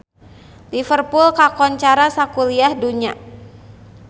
Liverpool kakoncara sakuliah dunya